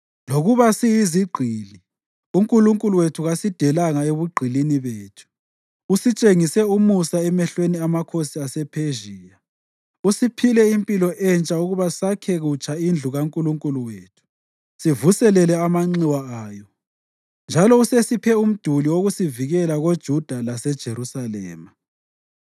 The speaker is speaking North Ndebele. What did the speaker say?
Lokuba siyizigqili, uNkulunkulu wethu kasidelanga ebugqilini bethu. Usitshengise umusa emehlweni amakhosi asePhezhiya; usiphile impilo entsha ukuba sakhe kutsha indlu kaNkulunkulu wethu sivuselele amanxiwa ayo, njalo usesiphile umduli wokusivikela koJuda laseJerusalema.